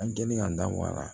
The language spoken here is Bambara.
An kɛlen ka n da wara